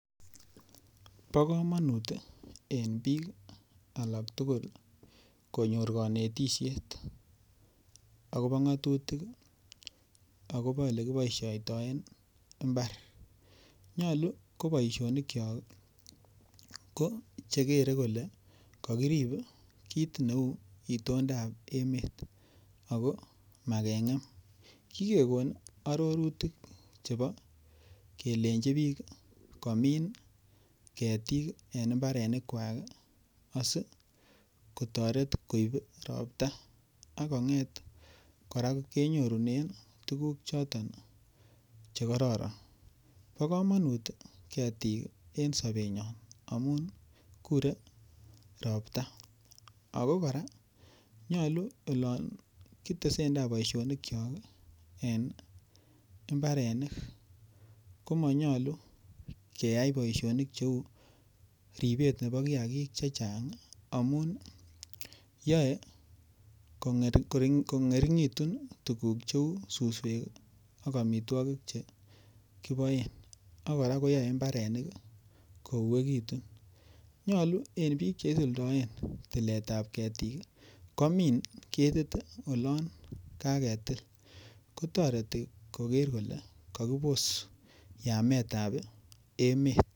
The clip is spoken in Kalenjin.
Bokomonut en bik alak tugul konyor konetishet akobo ngotutik akobo elekiboishoitoen imbar, nyolu ko boishonikiok kochekere koke kokirin kit neu itondab emet ako magengem, kigegon ororutik chebo kelenji bik komin ketik en imbarenikwak ii asikotoret koib ropta akonget koraa kenyorunen tuguk choton chekororon, bokomonut ketik en sobenyon amun kure ropta, ako koraa nyolu olon kitesendaa boishonikipk ii en imbarenik komonyolu keyai boishonik cheu ribet nebo kiakik chechang ii, amun yoe kongeringitun tuguk cheu suswek ii ok omitwogik chekiboen ak koraa koyoe imbaranik kouekitun nyolu en bik cheisuldoen tiletab ketik ii komin ketit olon kaketil kotoreti koker kole kokibos yametab emet.